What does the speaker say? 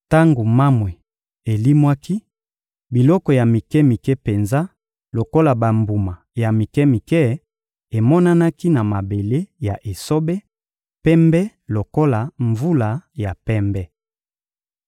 Tango mamwe elimwaki, biloko ya mike-mike penza lokola bambuma ya mike-mike emonanaki na mabele ya esobe, pembe lokola mvula ya pembe.